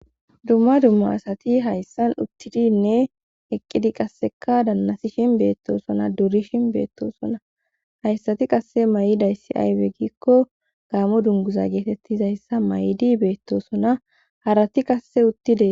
Dumma dumma asati hayssan uttidinne eqqidi qasseka dannasi shin beettosona durishin beettosona hayssati qasse may7idayssi aywe gikko gaamo dunguza geetettizayssa may7idi beettosona harati qasse uttide